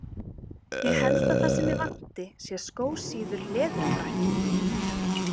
Ég held að það sem mig vanti sé skósíður leðurfrakki.